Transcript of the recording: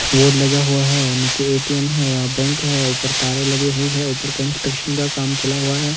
Board लगा हुआ है और नीचे ए_टी_एम है या बैंक है ऊपर तारें लगी हुई है ऊपर कंस्ट्रक्शन का काम चला हुआ है।